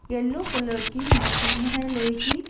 Yellow colour की machine है लोहे की।